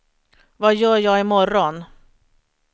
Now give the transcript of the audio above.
vad gör jag imorgon